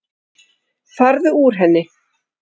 Farðu úr henni.